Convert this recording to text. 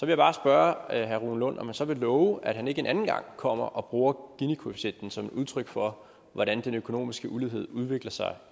jeg bare spørge herre rune lund om han så vil love at han ikke en anden gang kommer og bruger ginikoefficienten som et udtryk for hvordan den økonomiske ulighed udvikler sig